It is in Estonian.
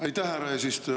Aitäh, härra eesistuja!